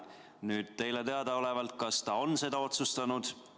Kas teile teadaolevalt ta on seda otsustanud?